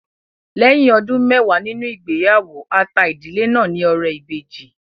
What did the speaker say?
Lẹ́yìn ọdún mẹwàá nínú ìgbéyàwó, a ta ìdílé náà ní ọrẹ ìbejì